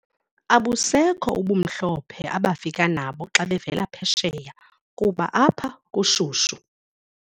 Abusekho ubumhlophe abafike nabo xa bevela phesheya kuba apha kushushu.